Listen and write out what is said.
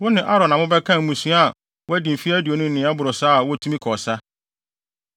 Wo ne Aaron na mobɛkan mmarima a wɔadi mfe aduonu no ne nea ɛboro saa a wotumi kɔ ɔsa.